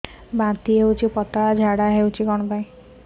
ବାନ୍ତି ହଉଚି ପତଳା ଝାଡା ହଉଚି